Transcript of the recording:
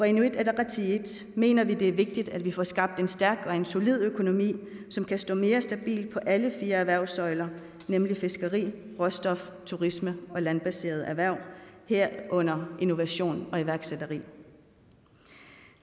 inuit ataqatigiit mener vi det er vigtigt at vi får skabt en stærk og en solid økonomi som kan stå mere stabilt på alle fire erhvervssøjler nemlig fiskeri råstof turisme og landbaserede erhverv herunder innovation og iværksætteri